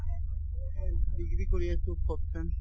এই degree কৰি আছো fourth sem